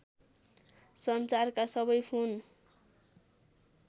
सञ्चारका सबै फोन